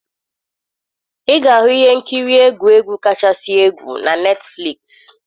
Ị ga-ahụ ihe nkiri egwu egwu kachasị egwu na Netflix.